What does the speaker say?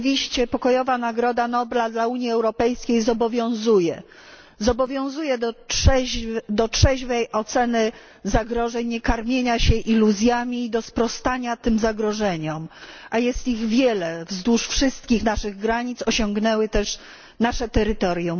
Rzeczywiście Pokojowa Nagroda Nobla dla Unii Europejskiej zobowiązuje do trzeźwej oceny zagrożeń, niekarmienia się iluzjami i do sprostania tym zagrożeniom, a jest ich wiele wzdłuż wszystkich naszych granic, osiągnęły też nasze terytorium.